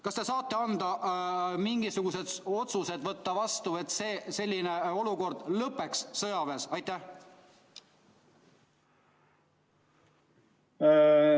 Kas te saate võtta vastu mingisugused otsused, et selline olukord sõjaväes lõpeks?